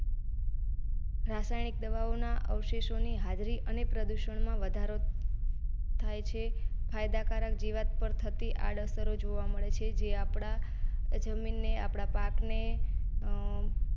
રાસાયણીક દવાઓના અવશેષોની હાજરી અને પ્રદુષણમાં વધારો થાય છે ફાયદાકારક જીવાત પર થતી આડઅસરો જોવા મળે છે જે આપડા જમીનને આપણા પાક ને. અમ